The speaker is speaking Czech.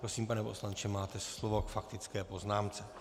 Prosím, pane poslanče, máte slovo k faktické poznámce.